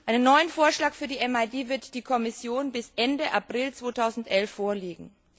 Einen neuen Vorschlag für die MID wird die Kommission bis Ende April 2011 vorlegen.